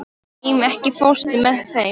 Ími, ekki fórstu með þeim?